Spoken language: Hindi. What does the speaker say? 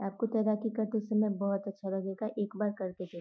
आपको तैराकी करते समय बोहोत अच्छा लगेगा एक बार करके दे --